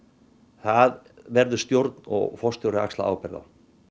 það verður stjórn og forstjóri að axla ábyrgð á